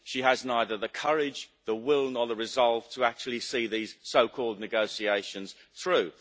She has neither the courage, the will nor the resolve to actually see these so called negotiations through.